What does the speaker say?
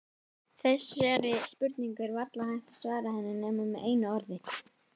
Þessari spurningu er varla hægt að svara henni nema með einu orði.